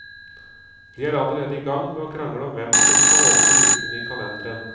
De er allerede igang med å krangle om hvem som skal åpne lukene i kalenderen.